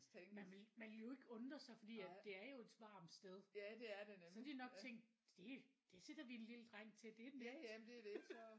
Man ville man ville jo ikke undre sig fordi at det er jo et varmt sted så har de nok tænkt det det sætter vi en lille dreng til det er nemt